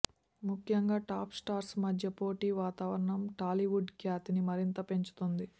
ముఖ్యంగా top stars మధ్య పోటీ వాతావరణం టాలీవుడ్ ఖ్యాతిని మరింత పెంచుతోంది